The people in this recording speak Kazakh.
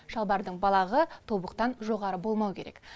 шалбардың балағы тобықтан жоғары болмауы керек